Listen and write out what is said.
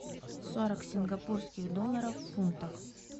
сорок сингапурских долларов в фунтах